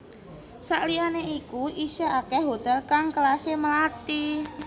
Sakliyane iku isih akeh hotel kang kelase melati